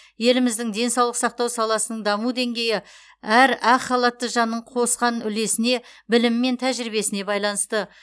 еліміздің денсаулық сақтау саласының даму деңгейі әр ақ халатты жанның қосқан үлесіне білімі мен тәжірибесіне байланысты